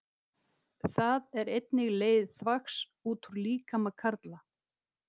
Það er einnig leið þvags út úr líkama karla.